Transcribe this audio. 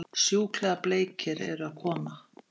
Sjúklega bleikir eru að koma!